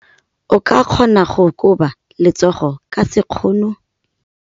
O ka kgona go koba letsogo ka sekgono.